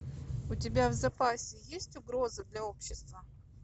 у тебя в запасе есть угроза для общества